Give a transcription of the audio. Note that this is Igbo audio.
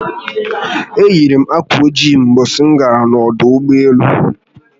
Eyi m akwa ojii Ụbọchị m gara n'ọdụ ụgbọelu